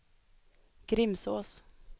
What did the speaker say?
Grimsås